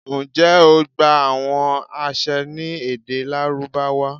njẹ o gba awọn aṣẹ ni ede Larubawa?